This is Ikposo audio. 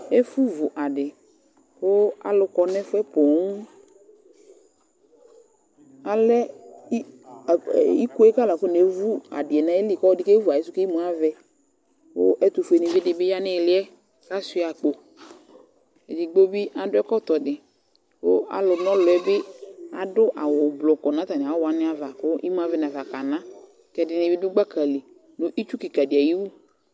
Ɛfʋvu adɩ kʋ alʋ kɔ nʋ ɛfʋ yɛ poo Alɛ i a iko yɛ kʋ alʋ akɔnevu adɩ yɛ nʋ ayili kʋ ɔlɔdɩ kevu ayɩsʋ kʋ imu avɛ kʋ ɛtʋfuenɩvi dɩ bɩ ya nʋ ɩɩlɩ yɛ kʋ asʋɩa akpo Edigbo bɩ adʋ ɛkʋ ɛkɔtọ dɩ kʋ alʋna ɔlʋ yɛ bɩ adʋ awʋblɔ kʋ nʋ atamɩ awʋ wanɩ ava kʋ imu avɛ nafa kana ɔlʋ kʋ ɛdɩnɩ bɩ dʋ gbaka li nʋ itsu kɩka dɩ ayʋ iwu